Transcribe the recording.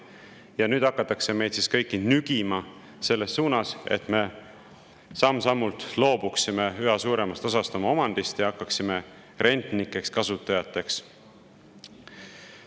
Ja nüüd hakatakse meid kõiki nügima selles suunas, et me samm-sammult loobuksime üha suuremast osast oma omandist ja hakkaksime rentnikeks, kasutajateks.